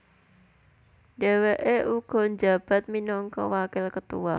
Dheweke uga njabat minangka wakil ketua